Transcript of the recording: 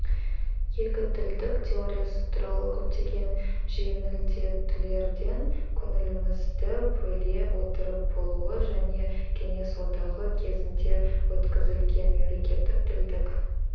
екітілділік теориясы туралы көптеген жеңілдетулерден көңілімізді бөле отырып болуы және кеңес одағы кезінде өткізілген мемлекеттік тілдік